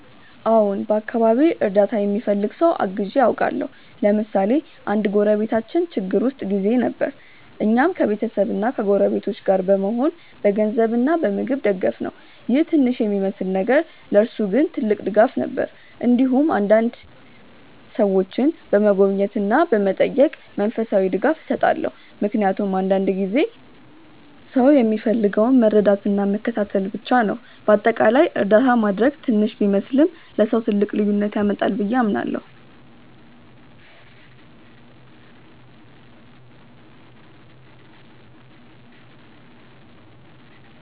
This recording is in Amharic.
አዎን፣ በአካባቢዬ እርዳታ የሚፈልግ ሰው አግዤ አውቃለሁ። ለምሳሌ አንድ ጎረቤታችን ችግር ውስጥ ጊዜ ነበር፣ እኛም ከቤተሰብና ከጎረቤቶች ጋር በመሆን በገንዘብ እና በምግብ ደገፍነው ይህ ትንሽ የሚመስል ነገር ለእርሱ ግን ትልቅ ድጋፍ ነበር። እንዲሁም አንዳንዴ ሰዎችን በመጎብኘት እና በመጠየቅ መንፈሳዊ ድጋፍ እሰጣለሁ፣ ምክንያቱም አንዳንድ ጊዜ ሰው የሚፈልገው መረዳትና መከታተል ብቻ ነው። በአጠቃላይ እርዳታ ማድረግ ትንሽ ቢመስልም ለሰው ትልቅ ልዩነት ያመጣል ብዬ አምናለሁ።